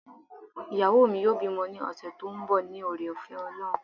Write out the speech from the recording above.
iyawo mí yóò bimò ni ọṣẹ to n bò, ní oré ofé olohún